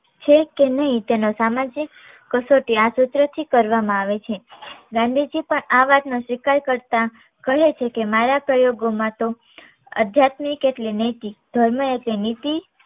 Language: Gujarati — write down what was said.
છે કે નહીં તેનો સામાજિક કસોટી આ સૂત્ર થી કરવામાં આવે છે. ગાંધીજી પણ આ વાત નો સ્વીકાર કરતા કહે છે કે મારા પ્રયોગોમાં તો આધ્યાત્મિક એટલે નીતિ ધર્મ એટલે નીતિ